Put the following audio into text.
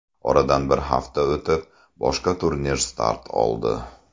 Oradan bir hafta o‘tib, boshqa turnir start oldi.